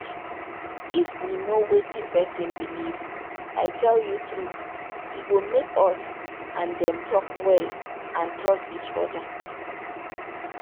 if we know wetin person believe i tell you true e go make us and dem talk well and trust each other.